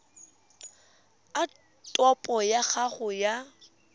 a topo ya gago ya